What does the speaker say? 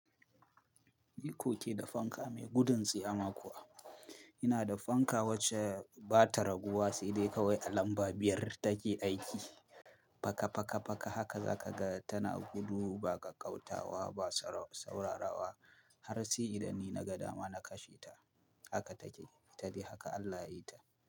Niko ke da fanka mai gudun tsiyama kuwa. Ina da fanka wacce ba ta raguwa sai dai kawai a lamba biyar take aiki. Faka, faka, faka haka za ka ga tana gudu ba kaƙautawa ba saurawa har sai idan ni na ga dama na kashe ta. Haka take, ita dai haka Allah ya yi ta.